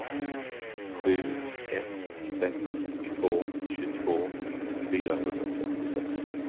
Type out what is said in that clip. sju ett sex två tjugotvå fyrahundrasextiosex